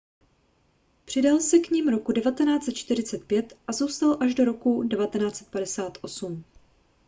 přidal se k nim roku 1945 a zůstal až do roku 1958